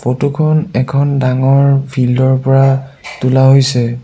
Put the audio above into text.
Photo খন এখন ডাঙৰ ফিল্ডৰ পৰা তোলা হৈছে।